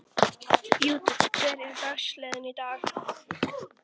Judith, hver er dagsetningin í dag?